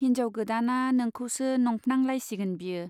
हिन्जाव गोदाना नोंखौसो नंफ्नां लाइसिगोन बियो।